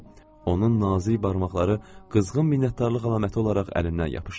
Onun nazik barmaqları qızğın minnətdarlıq əlaməti olaraq əlimdən yapışdı.